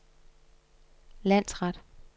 landsret